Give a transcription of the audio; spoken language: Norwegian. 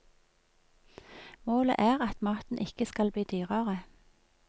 Målet er at maten ikke skal bli dyrere.